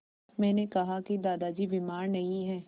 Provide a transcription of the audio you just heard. मैंने कहा कि दादाजी बीमार नहीं हैं